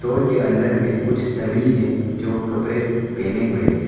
Mall के अंदर में कुछ डमी है जो कपरे पहने हुए हैं।